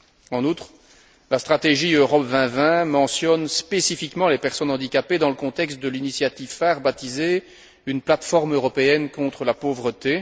En outre, la stratégie Europe 2020 mentionne spécifiquement les personnes handicapées dans le contexte de l'initiative phare baptisée Une plateforme européenne contre la pauvreté.